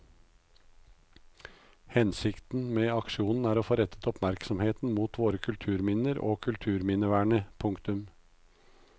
Hensikten med aksjonen er å få rettet oppmerksomheten mot våre kulturminner og kulturminnevernet. punktum